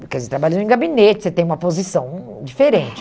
Porque se eu trabalho em gabinete, você tem uma posição hum hum diferente.